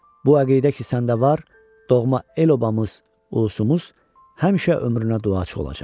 Bu əqidə ki səndə var, doğma el-obamız, ulusumuz həmişə ömrünə duacı olacaq.